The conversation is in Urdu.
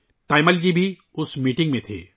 تایمل جی بھی اس میٹنگ میں تھیں